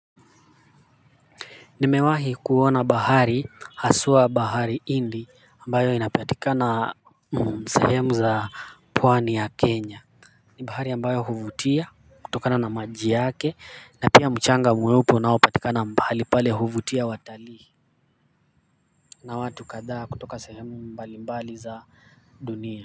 Nimewahi kuona bahari hindi ambayo inapatikana katika sehemu za pwani ya Kenya. Ni bahari ambayo huvutia kutokana na maji yake na pia mchanga mweupe unaopatika mahali pale huvutia watalii na watu kadhaa kutoka sehemu mbali mbali za dunia.